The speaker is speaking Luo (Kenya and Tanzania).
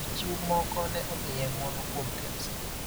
Jochiw moko ne omiye ng�uono kuom Kemsa